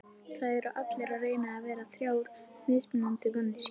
Það eru allir að reyna að vera þrjár mismunandi manneskjur.